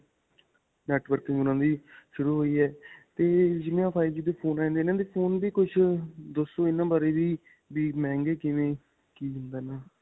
networking ਉਨ੍ਹਾਂ ਦੀ ਸ਼ੁਰੂ ਹੋਈ ਹੈ ਤੇ ਜਿੰਨੇ ਵੀ five G ਦੇ phone ਆਏ ਨੇ ਇਨ੍ਹਾਂ ਦੇ phone ਵੀ ਕੁੱਝ ਦੱਸੋ ਇਨ੍ਹਾਂ ਬਾਰੇ ਵੀ. ਵੀ ਮਹਿੰਗੇ ਕਿਵੇਂ ਕੀ ਹੁੰਦਾ ਇਹਨਾਂ ਦਾ.